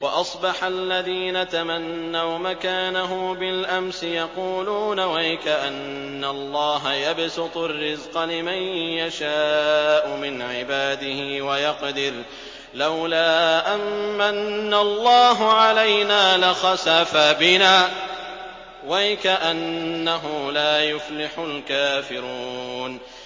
وَأَصْبَحَ الَّذِينَ تَمَنَّوْا مَكَانَهُ بِالْأَمْسِ يَقُولُونَ وَيْكَأَنَّ اللَّهَ يَبْسُطُ الرِّزْقَ لِمَن يَشَاءُ مِنْ عِبَادِهِ وَيَقْدِرُ ۖ لَوْلَا أَن مَّنَّ اللَّهُ عَلَيْنَا لَخَسَفَ بِنَا ۖ وَيْكَأَنَّهُ لَا يُفْلِحُ الْكَافِرُونَ